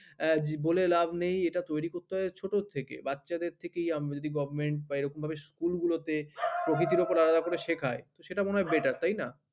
বলে লাভ নেই এটা তৈরী করতে হয় ছোট থেকে বাচ্চাদের থেকেই আমরা যদি govt বা এরকম ভাবে school গুলো তে প্রকৃতির উপর আলাদা করে শেখায় সেটা মনে হয় better তাই না?